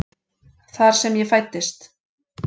Þar sem ég fæddist.